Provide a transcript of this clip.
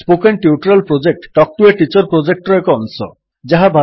spoken tutorial project talk to a teacher ପ୍ରୋଜେକ୍ଟର ଏକ ଅଂଶ